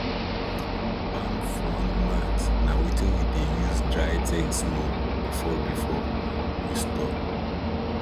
palm frond mat na wetin we dey use dry things small before before we store